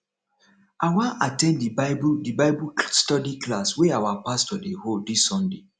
i wan at ten d the bible the bible study class wey our pastor dey hold dis sunday